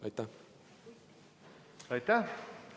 Aitäh!